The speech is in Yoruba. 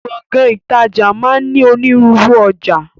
Gbọ̀ngán ìtajà máa ń ní ònírunru ọjà